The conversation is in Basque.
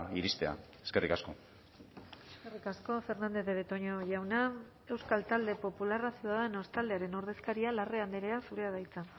iristea eskerrik asko eskerrik asko fernandez de betoño jauna euskal talde popularra ciudadanos taldearen ordezkaria larrea andrea zurea da hitza